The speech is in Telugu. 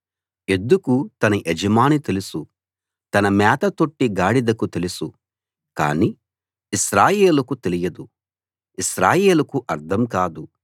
ఎద్దుకు తన యజమాని తెలుసు తన మేత తొట్టి గాడిదకు తెలుసు కాని ఇశ్రాయేలుకు తెలియదు ఇశ్రాయేలుకు అర్థం కాదు